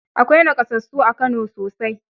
Akwai nakasassu a Kano sosai.